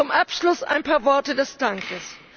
Zum Abschluss ein paar Worte des Dankes.